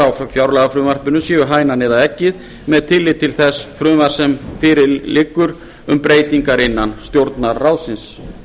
á fjárlagafrumvarpinu séu hænan eða eggið með tilliti til þess frumvarps sem liggur fyrir um breytingar innan stjórnarráðsins